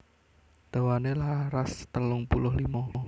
Dawané laras telung puluh limo